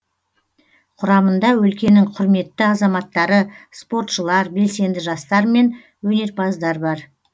құрамында өлкенің құрметті азаматтары спортшылар белсенді жастар мен өнерпаздар бар